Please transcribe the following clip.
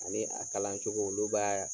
Ani a kalan cogo olu b'a